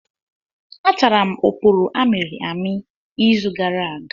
Atara m oporo amịrị amị izu gara aga.